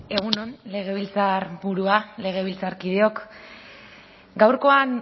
egun on legebiltzarburua legebiltzarkideok gaurkoan